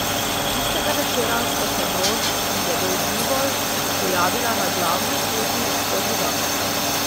Tistega večera sta se Bron in njegov bivol pojavila na glavni poti skozi vas.